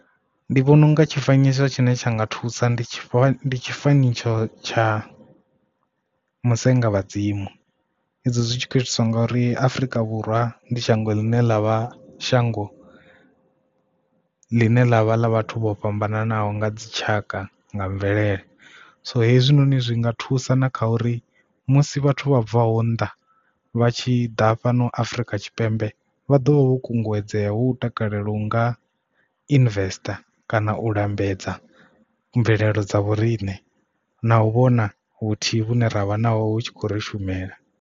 Ndi vhona unga tshifanyiso tshine tsha nga thusa ndi tshifanyiso tsha musenga vhadzimu izwo zwitshi kho itiswa ngori afrika vhurwa ndi shango ḽine ḽa vha shango ḽine ḽavha ḽa vhathu vho fhambananaho nga dzitshaka nga mvelele so hezwinoni zwi nga thusa na kha uri musi vhathu vha bvaho nnḓa vha tshi ḓa fhano afrika tshipembe vha ḓo vha vho kunguwedzea hu takalela u nga investor kana u lambedza mvelelo dza vhoriṋe na u vhona vhuthihi vhune ravha naho hu tshi khou ri shumela.